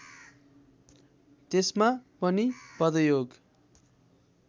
त्यसमा पनि पदयोग